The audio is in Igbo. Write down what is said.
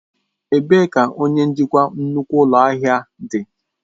Ebee ka onye njikwa nnukwu ụlọ ahịa dị?